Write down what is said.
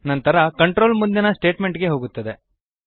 ನಂತರ ಕಂಟ್ರೋಲ್ ಮುಂದಿನ ಸ್ಟೇಟ್ಮೆಂಟ್ ಗೆ ಹೋಗುತ್ತದೆ